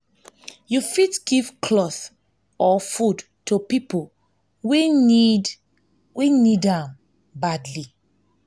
you fit give cloth or food to pipo wey need wey need am badly